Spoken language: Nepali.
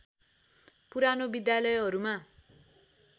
पुरानो विद्यालयहरूमा